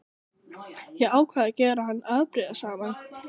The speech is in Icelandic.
Ég ákvað að gera hann afbrýðisaman.